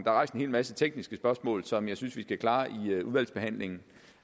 er rejst en hel masse tekniske spørgsmål som jeg synes vi skal klare i udvalgsbehandlingen